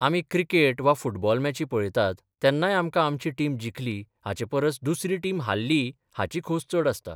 आमी क्रिकेट वा फुटबॉल मॅची पळयतात तेन्नाय आमकां आमची टीम जिखली हाचे परस दुसरी टीम हारली हाची खोस चड आसता?